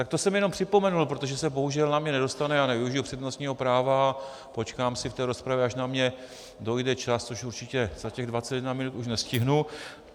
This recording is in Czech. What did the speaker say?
Tak to jsem jenom připomenul, protože se bohužel na mě nedostane, já nevyužiji přednostního práva, počkám si v té rozpravě, až na mě dojde čas, což určitě za těch 21 minut už nestihnu.